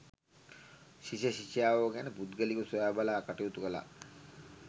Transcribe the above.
ශිෂ්‍ය ශිෂ්‍යාවෝ ගැන පුද්ගලිකව සොයාබලා කටයුතු කළා.